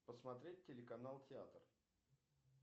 посмотреть телеканал театр